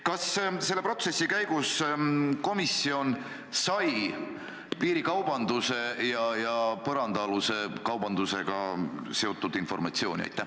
" Kas selle protsessi käigus komisjon sai piirikaubanduse ja põrandaaluse kaubandusega seotud informatsiooni?